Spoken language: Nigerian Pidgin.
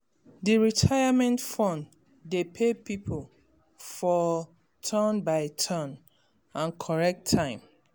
d retirement fund dey pay people for turn by turn and correct time